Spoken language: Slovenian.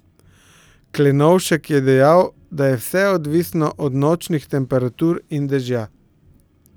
Klenovšek je dejal, da je vse odvisno od nočnih temperatur in dežja.